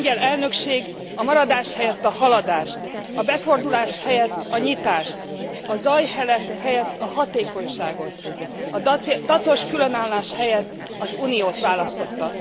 A lengyel elnökség a maradás helyett a haladást, a befordulás helyett a nyitást, a zaj helyett a hatékonyságot, a dacos különállás helyett az Uniót választotta!